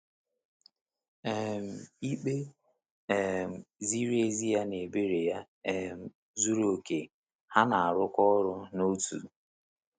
um Ikpe um ziri ezi ya na ebere ya um zuru oke, ha na-arụkọ ọrụ n’otu.